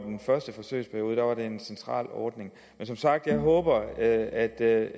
den første forsøgsperiode var en central ordning men som sagt håber jeg at at